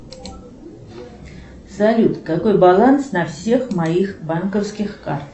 салют какой баланс на всех моих банковских картах